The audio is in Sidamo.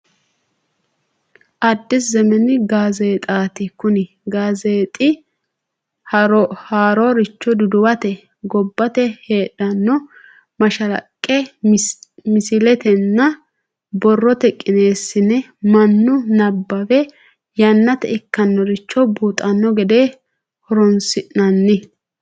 Adis zemen gaazzeexati, kuni gaazzeexxi haaroricho duduwatte gobbate heedhano mashalaqqe misiletenna borrotte qineesinne manu nabawe yanate ikkinoricho buuxano gede horosinanni